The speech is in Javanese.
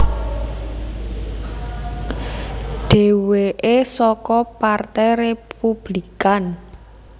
Dhèwèké saka Partai Républikan